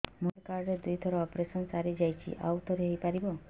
ମୋର health card ରେ ଦୁଇ ଥର ଅପେରସନ ସାରି ଯାଇଛି ଆଉ ଥର ହେଇପାରିବ